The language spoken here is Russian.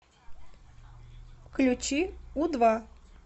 включи у два